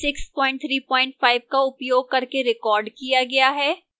libreoffice suite version 635 का उपयोग करके रिकॉर्ड किया गया है